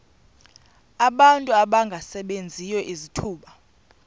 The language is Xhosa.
abantu abangasebenziyo izithuba